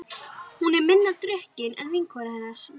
Hún er minna drukkin en vinkona hennar.